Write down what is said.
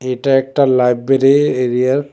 এটা একটা লাইব্রেরি এরিয়ার--